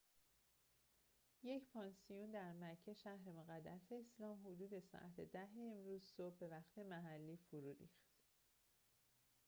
یک پانسیون در مکه شهر مقدس اسلام حدود ساعت ۱۰ امروز صبح به وقت محلی فرو ریخت